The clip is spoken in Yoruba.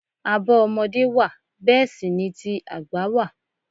Àbọ̀ ọmọdé wà bẹẹ sì ni ti àgbà wà.